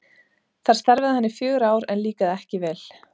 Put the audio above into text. Þar starfaði hann í fjögur ár en líkaði ekki vel.